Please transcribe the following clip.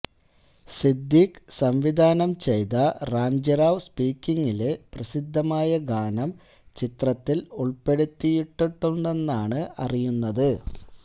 സിദ്ദിഖ് സംവിധാനം ചെയ്ത റാംജിറാവ് സ്പീക്കിങ്ങിലെ പ്രസിദ്ധമായ ഗാനം ചിത്രത്തില് ഉള്പ്പെടുത്തിയിട്ടുണ്ടെന്നാണ് അറിയുന്നത്